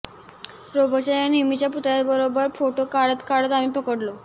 Roberts या नेहमीच्या पुतळ्यानबरोबर फोटो काढत काढत आम्ही पडलो